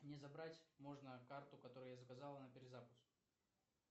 мне забрать можно карту которую я заказал на перезапуск